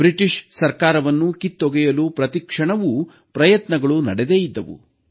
British ಸರ್ಕಾರವನ್ನು ಕಿತ್ತೊಗೆಯಲು ಪ್ರತಿ ಕ್ಷಣವೂ ಪ್ರಯತ್ನಗಳು ನಡೆದೇ ಇದ್ದವು